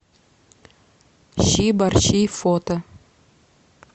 щи борщи фото